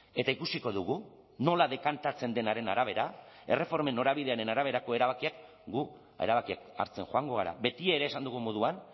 eta ikusiko dugu nola dekantatzen denaren arabera erreformen norabidearen araberako erabakiak guk erabakiak hartzen joango gara betiere esan dugun moduan